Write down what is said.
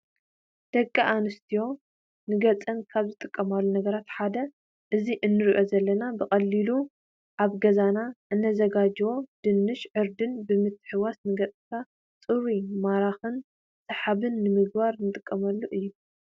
ደቂ አንስትዩ ንገፀን ካብ ዝጥቀማሉ ነገራት ሓደ እዛ እንሪኦ ዘለና ብቀሊሉ አብ ገዛና እነዛጋጅዎ ደንሽን ዕርድን ብምሕዋስ ንገዕካ ንፁሩን ማራክን ሳሓን ንምግባር ንጥቀመሉ እዩ።